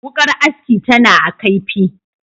Wuƙar aski tana a kaifi,